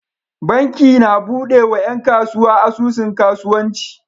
Banki na buɗe wa yan kasuwa asusun kasuwanci